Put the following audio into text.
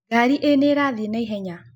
Ngarĩ ĩnĩĩrathĩe naĩhenya.